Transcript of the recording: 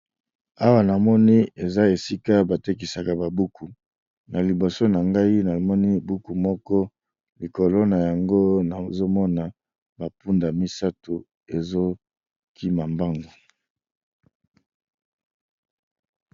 awa namoni eza esika batekisaka babuku na liboso na ngai namoni buku moko likolo na yango nazomona mapunda misato ezokima mbango